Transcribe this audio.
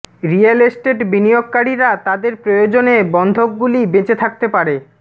real estate বিনিয়োগকারীরা তাদের প্রয়োজনে বন্ধকগুলি বেঁচে থাকতে পারে